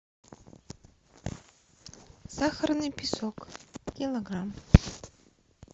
сахарный песок килограмм